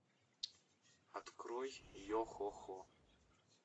открой йо хо хо